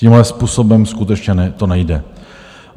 Tímhle způsobem skutečně to nejde.